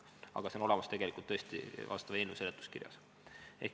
Aga see on olemas vastava eelnõu seletuskirjas.